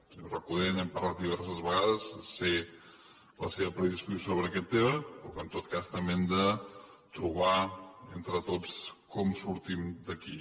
senyor recoder n’hem parlat diverses vegades sé la seva predisposició sobre aquest tema però que en tot cas també hem de trobar entre tots com sortim d’aquí